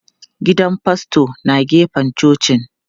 Gidan faston na gefen cocin.